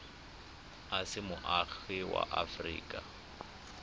o se moagi wa aforika